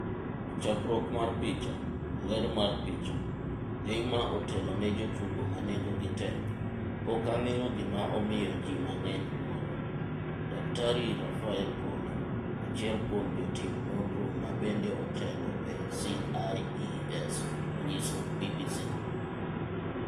Chakruok mar picha, Getty Images. Ler mar picha, Neymar otelo ne jotugo manengo gi tek "Pok ang'eyo gima omiyo ji mang'eny wuoro," Dkt Raffaele Polli, achiel kuom jotim nonro ma bende otelo e CIES onyiso BBC.